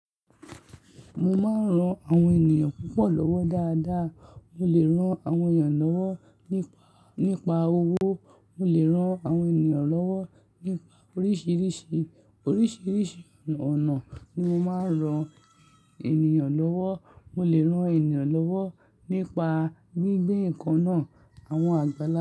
Mo máa ń ran àwọn ènìyàn púpọ̀ lọ́wọ́ dáadáa. Mo lè ran àwọn ènìyàn lọ́wọ́ nípa, nípa owó. Mo lè ran àwọn ènìyàn lọ́wọ́ nípa oríṣìíríṣìí, oríṣìíríṣìí ọ̀nà ló máa ń ran ènìyàn lọ́wọ́. Mo lè ran ènìyàn lọ́wọ́ nípa gbígbé nǹkan náà, àwọn àgbàlagbà.